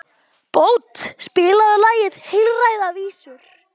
Bót, spilaðu lagið „Heilræðavísur“.